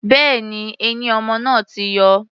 Bẹ́ẹ̀ni, eyín ọmọ náà ti yọ.